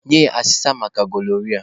Nye ya asesa maka gonoria.